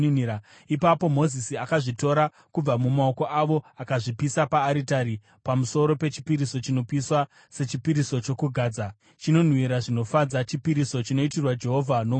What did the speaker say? Ipapo Mozisi akazvitora kubva mumaoko avo akazvipisa paaritari pamusoro pechipiriso chinopiswa sechipiriso chokugadza, chinonhuhwira zvinofadza, chipiriso chinoitirwa Jehovha nomoto.